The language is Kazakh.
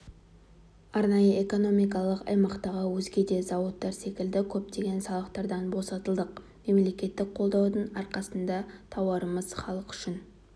арнайы экономикалық аймақтағы өзге де зауыттар секілді көптеген салықтардан босатылдық мемлекет қолдауының арқасында тауарымыз халық үшін